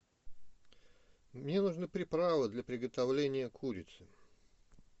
мне нужны приправы для приготовления курицы